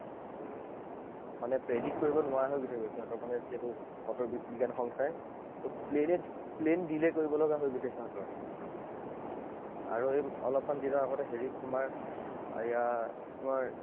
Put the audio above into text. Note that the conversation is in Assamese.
মানে predict কৰিব নোৱাৰা হৈ গৈছেগৈ সিহঁতৰ মানে সেইটো বতৰ বিজ্ঞানৰ সংস্থাই। ত plane এ plane delay কৰিব লগা হৈ গৈছে সিহঁতৰ। আৰু এই অলপ মান দিনৰ আগত হেৰিত তোমাৰ এইয়া তোমাৰ